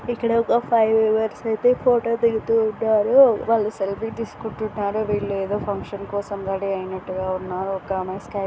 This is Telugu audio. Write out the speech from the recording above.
ఇక్కడ ఒక ఫైవ్ మెంబర్స్ అయితే ఫోటో దిగుతూ ఉన్నారు. వాళ్ళు సెల్ఫీ తీస్కుంటున్నారు. వీల్లేదో ఫంక్షన్ కోసం రెడి అయినట్టుగా ఉన్నారు . ఒక ఆమె స్--